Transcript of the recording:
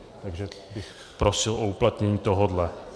Takže bych prosil o uplatnění tohohle.